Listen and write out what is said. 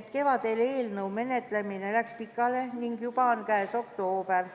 et kevadel läks eelnõu menetlemine pikale ning juba on käes oktoober.